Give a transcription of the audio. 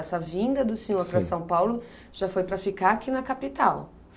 Essa vinda do senhor para São Paulo já foi para ficar aqui na capital.